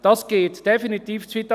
Das geht definitiv zu weit.